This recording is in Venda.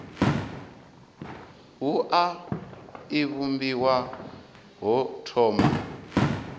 wua i vhumbiwa ho thoma